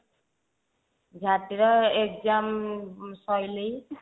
exam ସଇଲେଇଁ